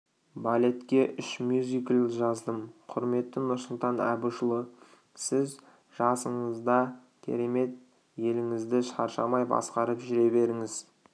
балетке үш мюзикл жаздым құрметті нұрсұлтан әбішұлы сіз жасыңызда керемет еліңізді шаршамай басқарып жүре беріңіз